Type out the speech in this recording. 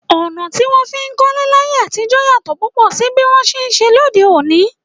Ọ̀nà tí wón fi ń kólé láyé àtijó yàtò púpọ̀ sí bí wọn ti ṣe ń ṣe lóde òní.